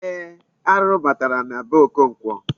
Ee, arụrụ batara na be Okonkwo.